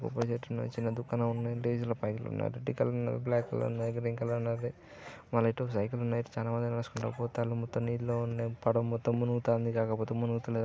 కొబ్బరి చెట్టు ఉన్నది. చిన్న దుకాణం ఉన్నది. టికల్ ఉన్నది బ్లాక్ కలర్ ఉన్నది గ్రీన్ కలర్ ఉన్నది. ఆ మళ్లీటు సైకిల్ ఉన్నది. చాలామంది నడుచుకుంటూ పోతారు. మొత్తం నీళ్లు ఉన్నాయి. పడవ మొత్తం మునుగుతంది కాకపోతే ములుగుతలేదు.